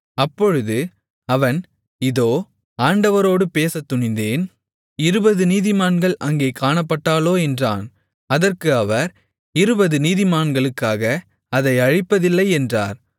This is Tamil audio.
அப்பொழுது அவன் இதோ ஆண்டவரோடு பேசத்துணிந்தேன் இருபது நீதிமான்கள் அங்கே காணப்பட்டாலோ என்றான் அதற்கு அவர் இருபது நீதிமான்களுக்காக அதை அழிப்பதில்லை என்றார்